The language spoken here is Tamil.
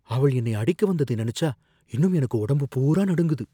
அவள் என்னை அடிக்க வந்தத நினைச்சா இன்னும் எனக்கு உடம்பு பூரா நடுங்குது